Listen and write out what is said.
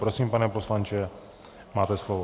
Prosím, pane poslanče, máte slovo.